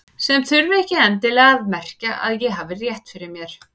Sem þurfti ekki endilega að merkja að ég hefði rétt fyrir mér.